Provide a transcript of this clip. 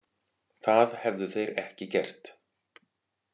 Það hefðu þeir ekki gert